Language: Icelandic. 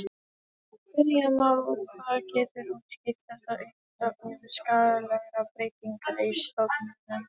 Spyrja má hvað getur útskýrt þessa uppsöfnun skaðlegra breytinga í stofninum.